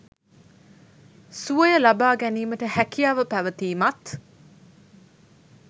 සුවය ලබා ගැනීමට හැකියාව පැවතීමත්